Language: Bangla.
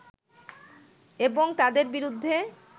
এবং তাদের বিরুদ্ধে